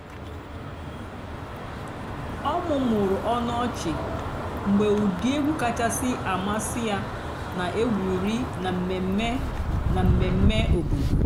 ọ́ mụ́mụ́rụ́ ónú ọ̀chị́ mg̀bé ụ́dị́ ègwú kàchàsị́ àmásị́ yá nà-ègwùrí nà m̀mèmè nà m̀mèmè òbòdo.